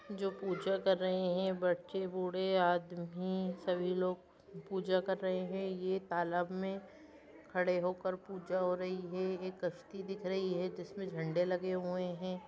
जो पूजा कर रहे है बच्चे बूढ़े आदमी सभी लोग पूजा कर रहे हैं ये तालाब में खड़े होकर पूजा हो रही है एक कस्ती दिख रही है जिसमें झंडे लगे हुए हैं।